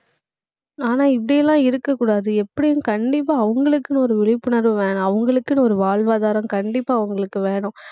ஆனா, இப்படி எல்லாம் இருக்கக் கூடாது. எப்படியும் கண்டிப்பா அவங்களுக்குன்னு ஒரு விழிப்புணர்வு வேணும். அவங்களுக்குன்னு ஒரு வாழ்வாதாரம் கண்டிப்பா அவங்களுக்கு வேணும்